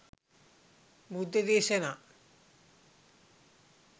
බුද්ධ දේශනා